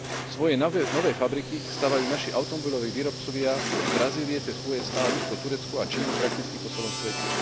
Svoje nové fabriky stavajú naši automobiloví výrobcovia od Brazílie cez USA, Rusko, Turecko a Čínu prakticky po celom svete.